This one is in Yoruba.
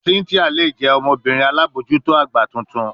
Cynthia le jẹ ọmọbirin alabojuto agba tuntun